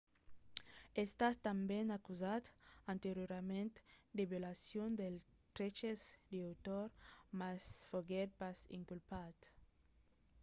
es estat tanben acusat anteriorament de violacion dels dreches d'autor mas foguèt pas inculpat